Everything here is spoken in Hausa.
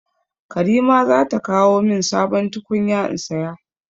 Karima za ta kawo min sabon tukunya in saya.